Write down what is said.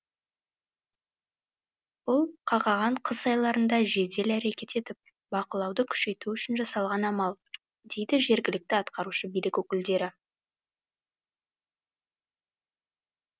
бұл қақаған қыс айларында жедел әрекет етіп бақылауды күшейту үшін жасалған амал дейді жергілікті атқарушы билік өкілдері